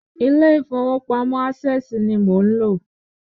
Ilé ìfowópamọ́ ásẹ̀sì ni mò ń lò.